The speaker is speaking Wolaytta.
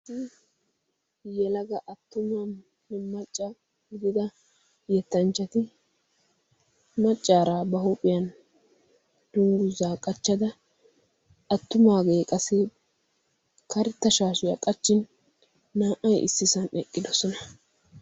ha yelaga attumaa ne macca gidida ha yettanchchati maccaaraa ba huuphiyan dunggusaa qachchada attumaagee qasi karetta shaashiyaa qachchin naa77ai issisan eqqidosona.